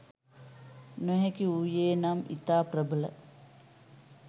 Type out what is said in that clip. නොහැකි වූයේ නම් ඉතා ප්‍රබල